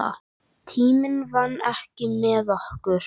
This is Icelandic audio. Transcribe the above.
Tíminn vann ekki með okkur.